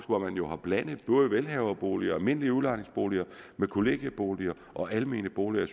hvor man jo har blandet velhaverboliger og almindelige udlejningsboliger med kollegieboliger og almene boliger